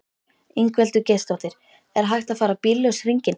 Ingveldur Geirsdóttir: Er hægt að fara bíllaus hringinn?